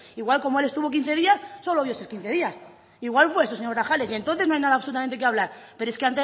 igual como él estuvo quince días solo vio esos quince días igual fue eso señor grajales y entonces no hay nada absolutamente de lo que hablar pero es que